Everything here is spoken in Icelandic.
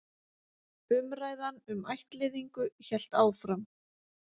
Umræðan um ættleiðingu hélt áfram.